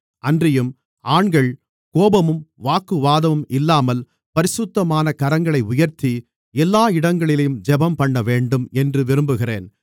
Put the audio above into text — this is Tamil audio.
அன்றியும் ஆண்கள் கோபமும் வாக்குவாதமும் இல்லாமல் பரிசுத்தமான கரங்களை உயர்த்தி எல்லா இடங்களிலேயும் ஜெபம்பண்ணவேண்டும் என்று விரும்புகிறேன்